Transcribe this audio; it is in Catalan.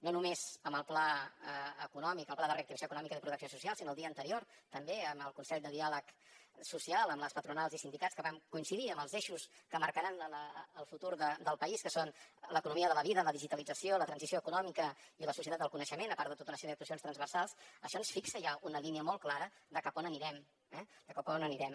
no només amb el pla econòmic el pla de reactivació econòmica i de protecció social sinó el dia anterior també amb el consell de diàleg social amb les patronals i sindicats que vam coincidir amb els eixos que marcaran el futur del país que són l’economia de la vida la digitalització la transició econòmica i la societat del coneixement a part de tota una sèrie d’actuacions transversals això ens fixa ja una línia molt clara de cap a on anirem eh de cap a on anirem